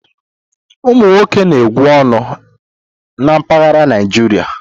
Ụmụ nwoke na-egwu ọñụ na mpaghara Naịjirịa.